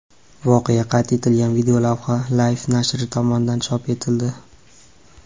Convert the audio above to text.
Voqea qayd etilgan videolavha Life nashri tomonidan chop etildi.